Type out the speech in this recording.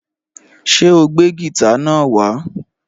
Ṣé o gbé gìtá náà wá?